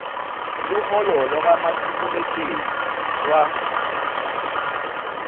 luholo lwakamatiku letjezi lwa